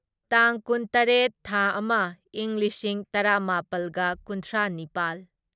ꯇꯥꯡ ꯀꯨꯟꯇꯔꯦꯠ ꯊꯥ ꯑꯃ ꯢꯪ ꯂꯤꯁꯤꯡ ꯇꯔꯥꯃꯥꯄꯜꯒ ꯀꯨꯟꯊ꯭ꯔꯥꯅꯤꯄꯥꯜ